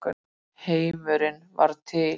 Heimurinn varð til.